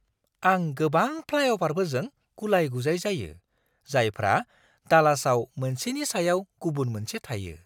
आं गोबां फ्लाइअ'भारफोरजों गुलाय-गुजाय जायो, जायफ्रा डालासआव मोनसेनि सायाव गुबुन मोनसे थायो!